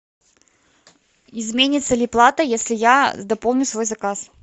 изменится ли плата если я дополню свой заказ